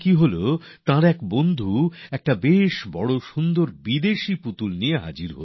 এমন হলো তাঁদের এক বন্ধু এক বড় আর সুন্দর দেখতে বিদেশী খেলনা নিয়ে হাজির